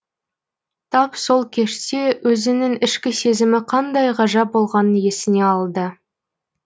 тап сол кеште өзінің ішкі сезімі қандай ғажап болғанын есіне алды